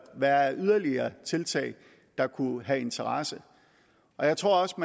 være af yderligere tiltag der kunne have interesse jeg tror også